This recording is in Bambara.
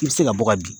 I bɛ se ka bɔ ka bin